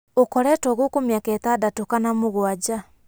"ũkoretwo gũkũ mĩaka ĩtandatũ kana mũgwanja.